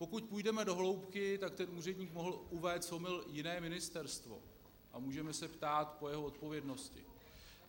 Pokud půjdeme do hloubky, tak ten úředník mohl uvést v omyl jiné ministerstvo a můžeme se ptát po jeho odpovědnosti.